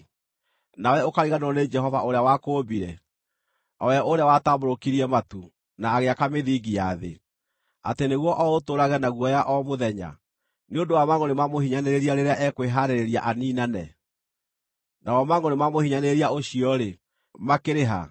nawe ũkariganĩrwo nĩ Jehova ũrĩa wakũũmbire, o we ũrĩa watambũrũkirie matu, na agĩaka mĩthingi ya thĩ, atĩ nĩguo o ũtũũrage na guoya o mũthenya nĩ ũndũ wa mangʼũrĩ ma mũhinyanĩrĩria rĩrĩa ekwĩhaarĩria aniinane? Namo mangʼũrĩ ma mũhinyanĩrĩria ũcio-rĩ, makĩrĩ ha?